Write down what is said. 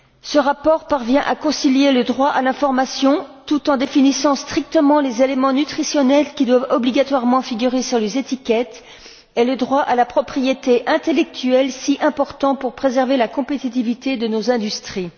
Ce rapport parvient à concilier le droit à l'information, tout en définissant strictement les éléments nutritionnels qui doivent obligatoirement figurer sur les étiquettes et le droit à la propriété intellectuelle, si important pour préserver la compétitivité de nos industries.